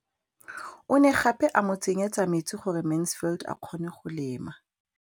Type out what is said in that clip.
O ne gape a mo tsenyetsa metsi gore Mansfield a kgone go lema.